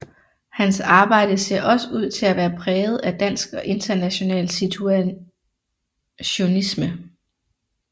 Hans arbejde ser også ud til at være præget af dansk og international situationisme